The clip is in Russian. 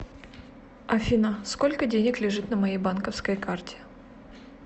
афина сколько денег лежит на моей банковской карте